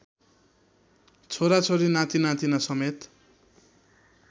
छोराछोरी नातिनातिना समेत